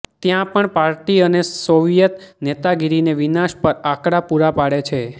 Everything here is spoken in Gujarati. ત્યાં પણ પાર્ટી અને સોવિયેત નેતાગીરીને વિનાશ પર આંકડા પૂરા પાડે છે